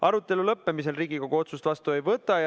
Arutelu lõppemisel Riigikogu otsust vastu ei võta.